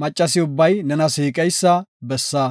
Maccasi ubbay nena siiqeysa bessa.